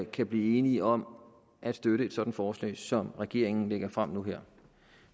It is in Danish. kan blive enige om at støtte et sådant forslag som regeringen lægger frem nu her